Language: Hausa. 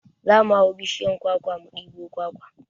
Za mu hau bishiyar kwakwa mu ɗebo kwakwa